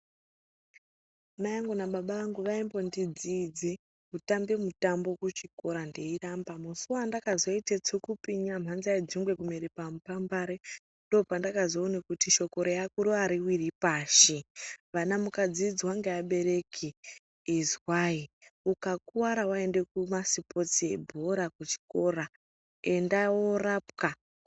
Mai angu nababa angu vaimbondidziidze kutambe mutambo kuchikora ndeiramba. Musi wandakazoite tsukupinya mhanza yejongwe kumere pamupambare ndoo pendakazoone kuti shoko reakuru ariwiri pashi. Vana mukadziidzwa ngeabereki izwai, ukakuwara waende kumasipotsi ebhora kuchikora enda woorapwa.